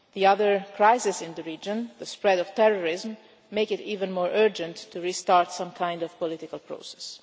The other crisis in the region the spread of terrorism makes it even more urgent to restart some kind of political process.